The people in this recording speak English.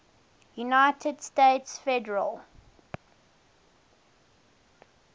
united states federal